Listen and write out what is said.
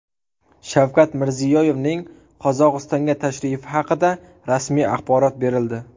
Shavkat Mirziyoyevning Qozog‘istonga tashrifi haqida rasmiy axborot berildi.